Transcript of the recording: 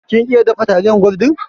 Kin iya dafa taliyar gwaldin?